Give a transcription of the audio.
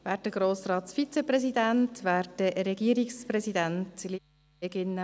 Kommissionssprecherin der FiKo-Minderheit.